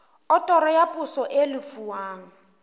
otoro ya poso e lefuwang